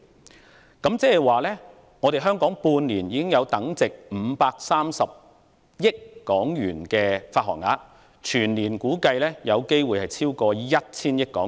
換言之，香港在半年內已有等值530億港元的發行量，估計全年發行量或會超逾 1,000 億港元。